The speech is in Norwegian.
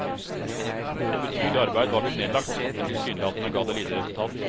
Et betydelig arbeid var blitt nedlagt, men tilsynelatende gav det lite resultat.